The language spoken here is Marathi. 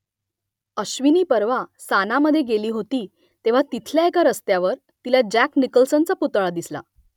अश्विनी परवा सानामधे गेली होती तेव्हा तिथल्या एका रस्त्यावर तिला जॅक निकल्सनचा पुतळा दिसला